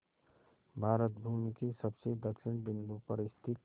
भारत भूमि के सबसे दक्षिण बिंदु पर स्थित